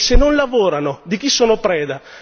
E se non lavorano, di chi sono preda?